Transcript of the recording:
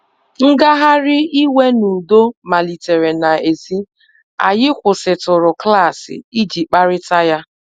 Ngagharị iwe n’udo malitere n’èzí, anyị kwụsịtụrụ klaasị iji kparịta ya.